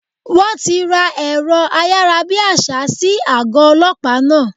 Wón ti ra èrọ ayárabíàṣá sí àgọ́ Ọlọ́pàá náà.